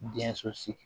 Denso sigi